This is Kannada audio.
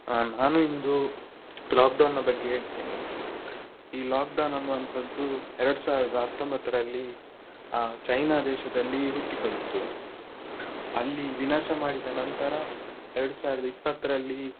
ಹಾ ನಾನು ಇಂದು lockdown ನ ಬಗ್ಗೆ ಹೇಳ್ತೇನೆ, ಈ lockdown ಅನ್ನುವಂತದ್ದು ಎರಡು ಸಾವಿರದ ಹತ್ತೊಂಬತ್ತರಲ್ಲಿ ಆ China ದೇಶದಲ್ಲಿ ಹುಟ್ಟಿಕೊಳ್ತು. ಅಲ್ಲಿ ವಿನಾಶ ಮಾಡಿದ ನಂತರ ಎರಡು ಸಾವಿರದ ಇಪ್ಪತ್ತರಲ್ಲಿ.